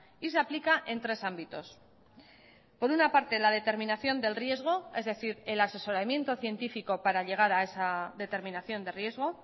y se aplica en tres ámbitos por una parte la determinación del riesgo es decir el asesoramiento científico para llegar a esa determinación de riesgo